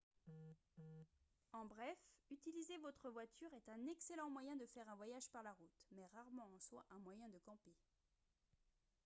en bref utiliser votre voiture est un excellent moyen de faire un voyage par la route mais rarement en soi un moyen de « camper »